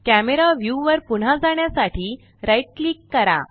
camera view वर पुन्हा जाण्यासाठी राइट क्लिक करा